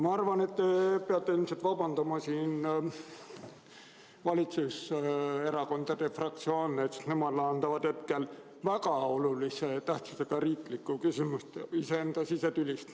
Ma arvan, et te peate siin ilmselt vabandama, sest valitsuserakondade fraktsioonid lahendavad hetkel väga olulise tähtsusega riiklikku küsimust, iseenda sisetüli.